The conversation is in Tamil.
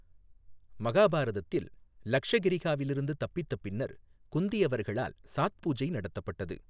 மகாபாரதத்தில், லக்ஷகிரிஹாவிலிருந்து தப்பித்த பின்னர் குந்தி அவர்களால் சாத் பூஜை நடத்தப்பட்டது.